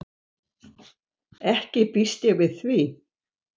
Ekki býst ég við því.